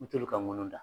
N t'olu ka ŋunu da